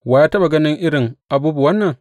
Wa ya taɓa gani irin abubuwan nan?